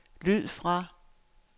lyd fra